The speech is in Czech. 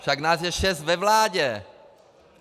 Však nás je šest ve vládě.